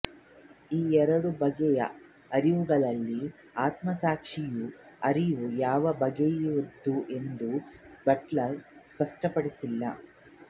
ಈ ಎರಡು ಬಗೆಯ ಅರಿವುಗಳಲ್ಲಿ ಆತ್ಮಸಾಕ್ಷಿಯ ಅರಿವು ಯಾವ ಬಗೆಯದು ಎಂಬುದನ್ನು ಬಟ್ಲರ್ ಸ್ಪಷ್ಟಪಡಿಸಿಲ್ಲ